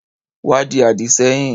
Wá di àdì sẹ́yìn.